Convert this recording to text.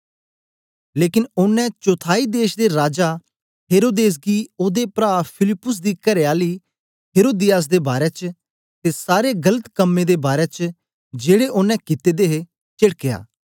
लेकन ओनें चौथाई देश दे राजा हेरोदेस गी ओदे प्रा फिलिप्पुस दी करेआली हेरोदियास दे बारै च ते सारे गलत कम्में दे बारै च जेड़े ओनें कित्ते दे हे चेडकया